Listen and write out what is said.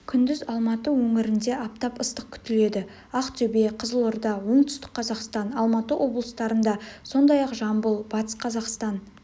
күндіз алматы өңірінде аптап ыстық күтіледі ақтөбе қызылорда оңтүстік қазақстан алматы облыстарында сондай-ақ жамбыл батыс қазақстан